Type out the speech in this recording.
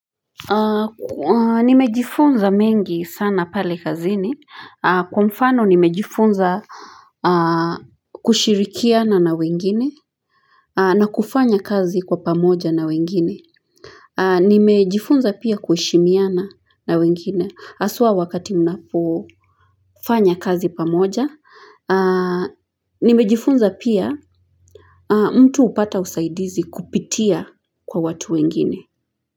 Nimejifunza mengi sana pale kazini, kwa mfano nimejifunza kushirikiana na wengine na kufanya kazi kwa pamoja na wengine Nimejifunza pia kuheshimiana na wengine, haswa wakati mnapo fanya kazi pamoja, nimejifunza pia mtu hupata usaidizi kupitia kwa watu wengine.